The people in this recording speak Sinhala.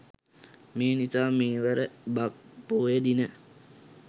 මේ නිසා මෙවර බක් පොහොය දිනය